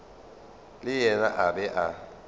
le yena a be a